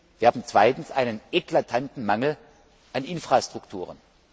Wir haben zweitens einen eklatanten Mangel an Infrastrukturen.